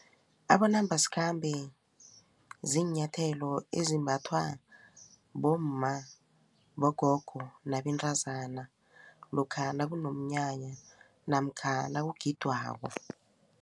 Abonambasikhambe ziinyathelo ezimbathwa bomma, bogogo nabentazana lokha nakunomnyanya namkha nakugidwako.